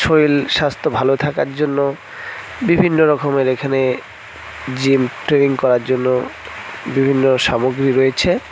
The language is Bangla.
শরীল স্বাস্থ্য ভালো থাকার জন্য বিভিন্ন রকমের এখানে জিম ট্রেনিং করার জন্য বিভিন্ন সামগ্রী রয়েছে।